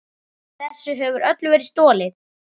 Þessu hefur öllu verið stolið!